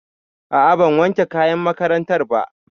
A'a ban wanke kayan makarantar ba